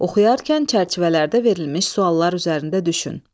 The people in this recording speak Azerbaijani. Oxuyarkən çərçivələrdə verilmiş suallar üzərində düşün.